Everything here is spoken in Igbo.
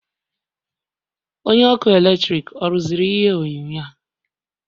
Onye ọkụ eletrik ọ rụziri ihe onyonyo a?